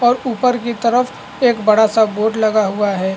और ऊपर की तरफ एक बड़ा सा बोर्ड लगा हुआ है।